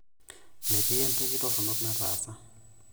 Metii entoki toronok nataasa.